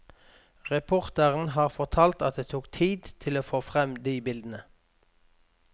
Reporteren har fortalt at det tok tid å få frem de bildene.